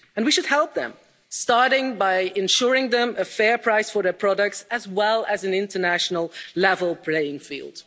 And we should help them, starting by ensuring them a fair price for their products as well as an international level playing field.